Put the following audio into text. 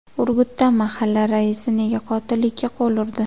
Urgutda mahalla raisi nega qotillikka qo‘l urdi?.